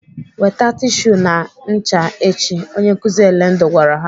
"Weta tishu na ncha echi!" Onye nkụzi Elendu gwara ha.